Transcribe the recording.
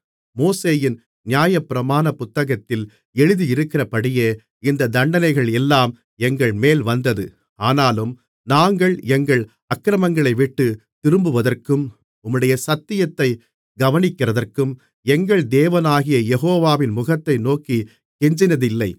மோசேயின் நியாயப்பிரமாணப் புத்தகத்தில் எழுதியிருக்கிறபடியே இந்தத் தண்டனைகள் எல்லாம் எங்கள்மேல் வந்தது ஆனாலும் நாங்கள் எங்கள் அக்கிரமங்களைவிட்டுத் திரும்புவதற்கும் உம்முடைய சத்தியத்தைக் கவனிக்கிறதற்கும் எங்கள் தேவனாகிய யெகோவாவின் முகத்தை நோக்கிக் கெஞ்சினதில்லை